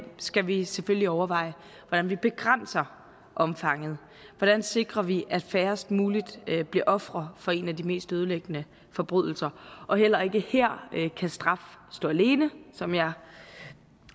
skal vi selvfølgelig overveje hvordan vi begrænser omfanget hvordan sikrer vi at færrest mulige bliver ofre for en af de mest ødelæggende forbrydelser og heller ikke her kan straf stå alene som jeg